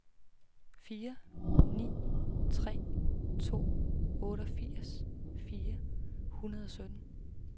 fire ni tre to otteogfirs fire hundrede og sytten